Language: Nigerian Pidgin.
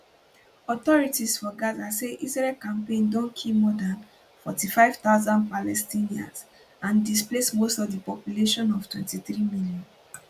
authorities for gaza say israel campaign don kill more dan 45000 palestinians and displace most of di population of 23 million